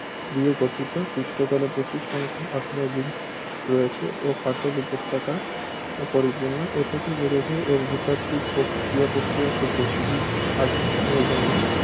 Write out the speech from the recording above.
দিয়ে গঠিত পৃষ্ঠতলে প্রচুর সংখ্যক আগ্নেয়গিরি রয়েছে ও ফাটল উপত্যকায় পরিপূর্ণ এ থেকে বোঝা যায় এর ভূতাত্ত্বিক পোক ক্রিয়া-প্রতিক্রিয়া খুব বেশি দিন আগে থেমে যায়নি